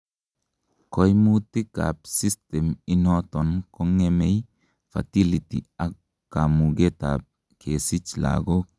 koimutik ab system initon kongemei fertility ak kamuget ab kesich lagok